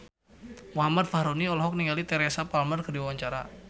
Muhammad Fachroni olohok ningali Teresa Palmer keur diwawancara